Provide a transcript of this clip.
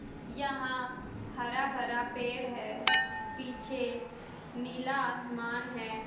यहां हरा भरा पेड़ है पीछे नीला आसमान है।